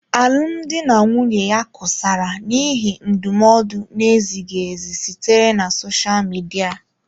Alụmdi na nwunye ya kusara n'ihi ndụmọdụ na-ezighị ezi sitere na sosha Midia.